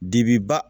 Dibi ba